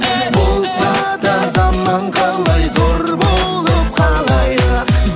болса да заман қалай зор болып қалайық